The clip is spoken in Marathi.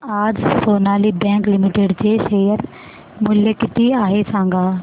आज सोनाली बँक लिमिटेड चे शेअर मूल्य किती आहे सांगा